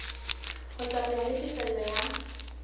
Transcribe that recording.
ho tsamaya le tefello ya